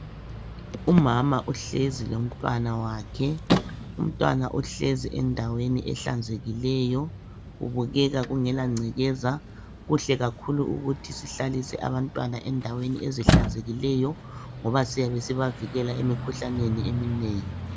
Umama uhlezi lomntwana wakhe. Umntwana uhlezi endaweni ehlanzekileyo engela ngcekeza. Kuhle kakhulu ukuthi sihlalise abantwana endaweni ehlanzekileyo ngoba siyabe sibavikela emikhuhlaneni eminengi.